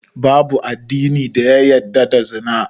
Babu addini da ya yadda da Zina